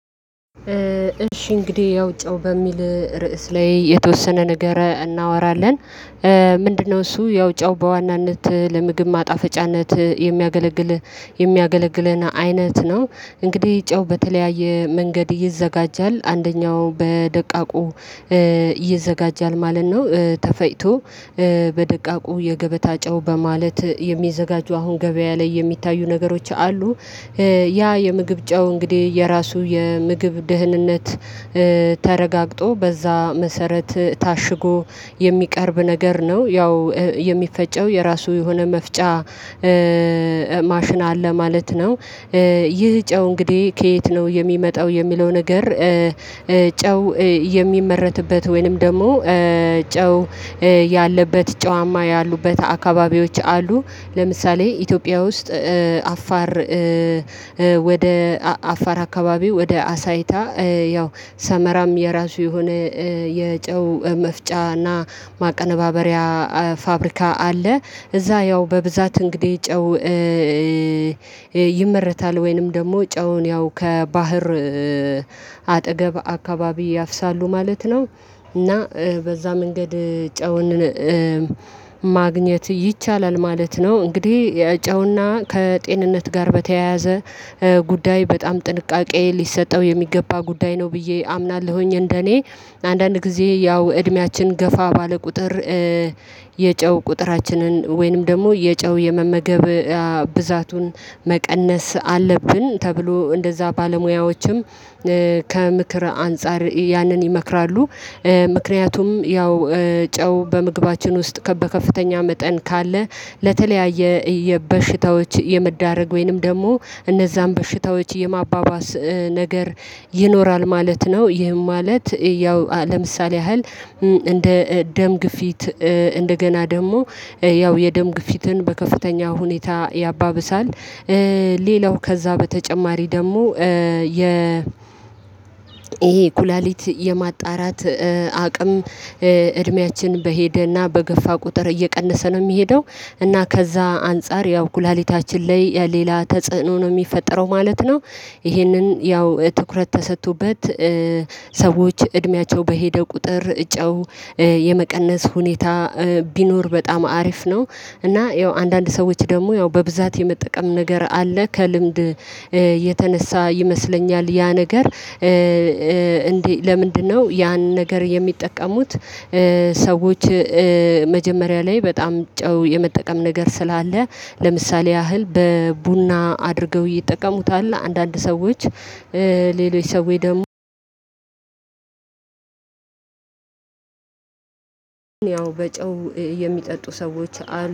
እሺ እንግዲህ ያው ጨው በሚል ርዕስ ላይ የተወሰነ ንገረ እናወራለን? ምንድነው እሱ ያው ጨው በዋናነት ለምግብ ማጣፈጫነት የሚያገለግል የሚያገለግለን አይነት ነው። እንግዲህ ጨው በተለያየ መንገድ ይዘጋጃል አንደኛው በደቃቁ ይዘጋጃል ማለት ነው። ተፈጭቶ በደቃቁ የገበታ ጨው በማለት የሚዘጋጁ አሁን ገበያ ላይ የሚታዩ ነገሮች አሉ። ያ የምግብ ጨው እንግዲህ የራሱ የምግብ ደህንነት ተረጋግጦ በዛ መሰረት ታሽጎ የሚቀርብ ነገር ነው ያው የሚፈጨው የራሱ የሆነ መፍጫ ማሽን አለ ማለት ነው። ይህ ጨው እንግዲህ ከየት ነው የሚመጣው የሚለው ነገር? ጨው የሚመረትበት ወይንም ደግሞ ጨው ያለበት ጨዋማ ያሉበት አካባቢዎች አሉ። ለምሳሌ ኢትዮጵያ ውስጥ አፋር ወደ አፋር አካባቢው ወደ አሳይታ ያው ሰመራም የራሱ የሆነ የጨው መፍጫና ማቀነባበሪያ ፋብሪካ አለ። እዛ ያው በብዛት እንግዲህ ጨው ይመረታል ወይንም ደግሞ ጨውን ያው ከባህር አጠገብ አካባቢ ያፍሳሉ ማለት ነው። እና በዛ መንገድ ጨውንን ማግኘት ይቻላል ማለት ነው። እንግዲህ የጨውና ከጤንነት ጋር በተያያዘ ጉዳይ በጣም ጥንቃቄ ሊሰጠው የሚገባ ጉዳይ ነው ብዬ አምናለሁኝ። እንደኔ አንዳንድ ጊዜ ያው እድሜያችን ገፋ ባለ ቁጥር የጨው ቁጥራችንን ወይንም ደግሞ የጨው የመመገብ ብዛቱን መቀነስ አለብን ተብሎ እንደዛ ባለሙያዎችም ከምክር አንፃር ያንን ይመክራሉ። ምክንያቱም ያው ጨው በምግባችን ውስጥ በከፍተኛ መጠን ካለ ለተለያየ የበሽታዎች የመዳረግ ወይንም ደግሞ እነዛን በሽታዎች የማባባስ ነገር ይኖራል ማለት ነው። ይህም ማለት ያው ለምሳሌ ያህል እንደ ደም ግፊት እንደገና ደግሞ ያው የደም ግፊትን በከፍተኛ ሁኔታ ያባብሳል። ሌላው ከዛ በተጨማሪ ደግሞ የ ይሄ ኩላሊት የማጣራት አቅም እድሜያችን በሄደና በገፋ ቁጥር እየቀነሰ ነው የሚሄደው እና ከዛ አንፃር ያው ኩላሊታችን ላይ ሌላ ተጽዕኖ ነው የሚፈጠረው ማለት ነው። ይሄንን ያው ትኩረት ተሰጥቶበት ሰዎች እድሜያቸው በሄደ ቁጥር ጨው የመቀነስ ሁኔታ ቢኖር በጣም አሪፍ ነው። እና ያው አንዳንድ ሰዎች ደግሞ ያው በብዛት የመጠቀም ነገር አለ ከልምድ የተነሳ ይመስለኛል። ያ ነገር እንዴ ለምንድነው ያን ነገር የሚጠቀሙት? ሰዎች መጀመሪያ ላይ በጣም ጨው የመጠቀም ነገር ስላለ ለምሳሌ ያህል በቡና አድርገው ይጠቀሙታል። አንዳንድ ሰዎች ሌሎች ሰዎች ደግሞ ያው በጨው የሚጠጡ ሰዎች አሉ